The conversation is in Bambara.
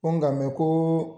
Ko gamɛn koo